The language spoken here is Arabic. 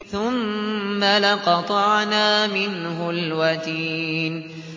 ثُمَّ لَقَطَعْنَا مِنْهُ الْوَتِينَ